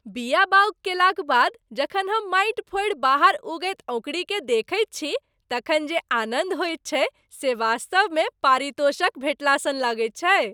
बीया बाउग केलाक बाद जखन हम माटि फोड़ि बाहर उगैत अँकुड़ीकेँ देखैत छी तखन जे आनन्द होइत छैक से वास्तवमे पारितोषक भेटला सन लगैत छैक।